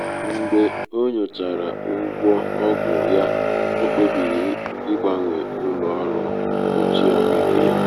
mgbe o nyochachara ụgwọ ọgwụ ya ọ kpebiri ịgbanwe um ụlọ um ọrụ mkpuchi ahụike ya.